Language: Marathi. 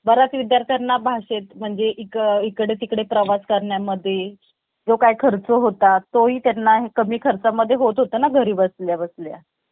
बराच विद्यार्थ्यांना भाषेत म्हणजे एक इकडे तिकडे प्रवास करण्या मध्ये जो काही खर्च होता तो इ त्यांना कमी खर्चा मध्ये होत होता घरी बसल्या बसल्या